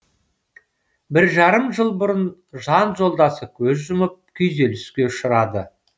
бір жарым жыл бұрын жан жолдасы көз жұмып күйзеліске ұшырады